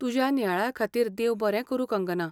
तुज्या नियाळा खातीर देव बरें करूं कंगना.